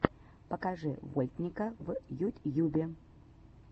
покажи вольтника в ютьюбе